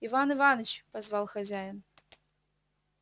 иван иваныч позвал хозяин